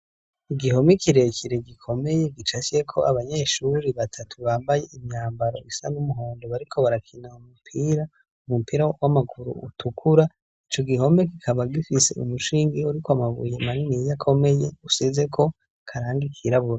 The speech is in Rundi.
Igihome kirekere gikomeye gicafyeko abanyeshuri batatu bambaye imyambaro isa n'umuhondo bariko barakina umupira, umupira w'amaguru utukura. Ico gihome kikaba gifise umushinge uriko amabuye manini akomeye asizeko akarangi kirabura.